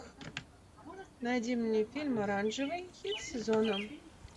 найди мне фильм оранжевый хит сезона